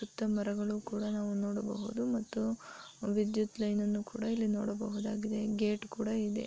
ಮತ್ತೆ ಮರಗಳು ಕೂಡ ನಾವು ನೋಡಬಹುದು ಮತ್ತು ವಿದ್ಯುತ್ ಲೈನನ್ನು ಕೂಡ ಇಲ್ಲಿ ನೋಡಬಹುದಾಗಿದೆ ಗೇಟ್ ಕೂಡಾ ಇದೆ.